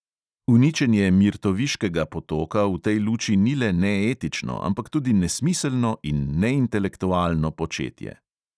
Uničenje mirtoviškega potoka v tej luči ni le neetično, ampak tudi nesmiselno in neintelektualno početje.